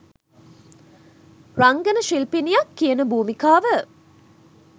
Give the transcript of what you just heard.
රංගන ශිල්පිනියක් කියන භූමිකාව